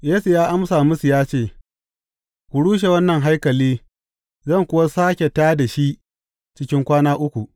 Yesu ya amsa musu ya ce, Ku rushe wannan haikali, zan kuwa sāke tā da shi cikin kwana uku.